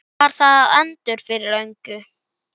Var það endur fyrir löngu?